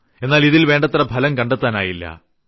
എന്നാൽ ഇതിൽ വേണ്ടത്ര ഫലം കണ്ടെത്താനായില്ല